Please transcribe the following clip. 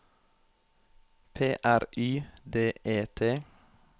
P R Y D E T